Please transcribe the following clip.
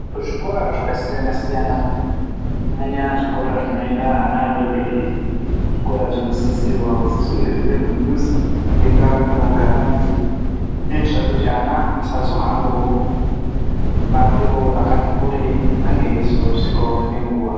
Kuzvikora zvakasiyana siyana kunyanya zvimora zvinoenda ana adodori, zvikora zvinosisirwa kuti zvinge zviri mudhuze nendau inogara antu kuitire kuti ana asazohambawo mupato rakati kurei ange eizosvikawo ngenguwa.